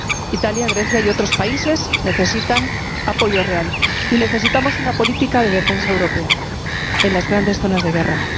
Italia, Grecia y otros países necesitan apoyo real, y necesitamos una política de defensa europea en las grandes zonas de guerra.